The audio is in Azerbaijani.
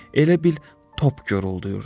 Elə bil top göruldurdu.